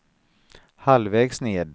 halvvägs ned